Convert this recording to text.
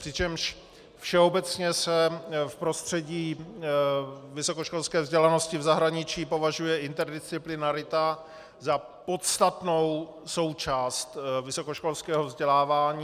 Přičemž všeobecně se v prostředí vysokoškolské vzdělanosti v zahraničí považuje interdisciplinarita za podstatnou součást vysokoškolského vzdělávání.